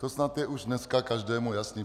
To snad je už dneska každému jasné.